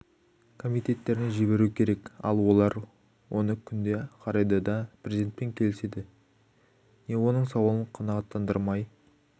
комитеттеріне жіберуі керек ал олар оны күнде қарайды да президентпен келіседі не оның сауалын қанағаттандырмай